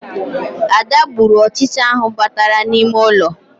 Ada gburu ọchịcha ahụ batara n'ime ụlọ